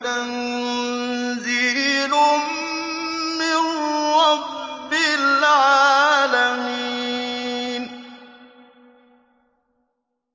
تَنزِيلٌ مِّن رَّبِّ الْعَالَمِينَ